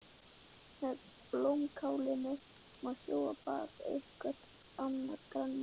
Með blómkálinu má sjóða og baka eitthvert annað grænmeti.